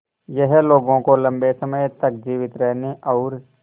यह लोगों को लंबे समय तक जीवित रहने और